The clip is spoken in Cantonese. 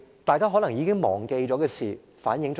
大家可能已經忘記了，但這件事反映了甚麼？